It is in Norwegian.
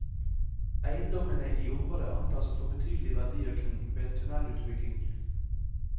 Eiendommene i området antas å få betydelig verdiøkning ved en tunnelutbygging.